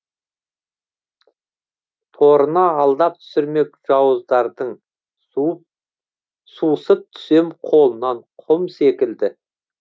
торына алдап түсірмек жауыздардың сусып түсем қолынан құм секілді